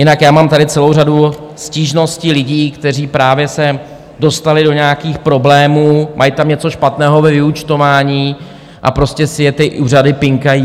Jinak já mám tady celou řadu stížností lidí, kteří právě se dostali do nějakých problémů, mají tam něco špatného ve vyúčtování a prostě si je ty úřady pinkají.